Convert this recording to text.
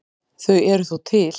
Þau eru þó til.